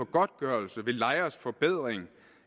godtgørelsen ved lejers forbedring